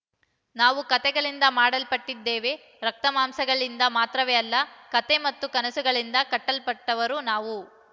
ನಾವು ಕತೆಗಳಿಂದ ಮಾಡಲ್ಪಟ್ಟಿದ್ದೇವೆ ರಕ್ತಮಾಂಸಗಳಿಂದ ಮಾತ್ರವೇ ಅಲ್ಲ ಕತೆ ಮತ್ತು ಕನಸುಗಳಿಂದ ಕಟ್ಟಲ್ಪಟ್ಟವರು ನಾವು